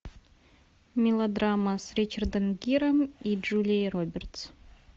мелодрама с ричардом гиром и джулией робертс